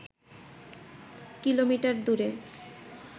kilometre দূরে